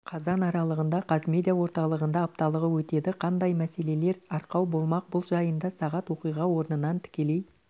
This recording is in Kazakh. қазан аралығында қазмедиа орталығында апталығы өтеді қандай мәселелер арқау болмақ бұл жайында сағат оқиға орнынан тікелей